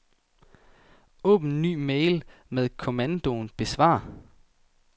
Åbn ny mail med kommandoen besvar.